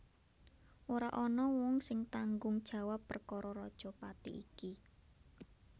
Ora ana wong sing tanggung jawab perkara rajapati iki